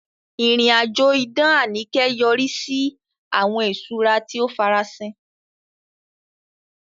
Ìrìn-àjò idán Anike yọrí sí àwọn ìṣúra tí ó farasin.